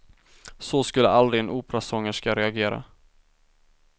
Så skulle aldrig en operasångerska reagera.